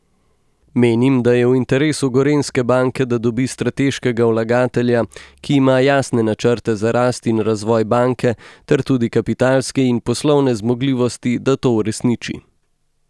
Menim, da je v interesu Gorenjske banke, da dobi strateškega vlagatelja, ki ima jasne načrte za rast in razvoj banke ter tudi kapitalske in poslovne zmogljivosti, da to uresniči.